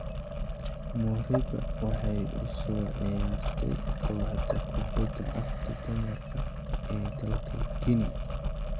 Moriba waxay u soo ciyaartay kooxda kubbada cagta dumarka ee dalka Guinea.